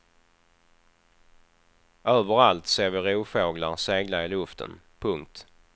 Överallt ser vi rovfåglar segla i luften. punkt